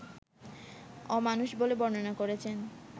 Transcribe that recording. অ-মানুষ বলে বর্ণনা করেছেন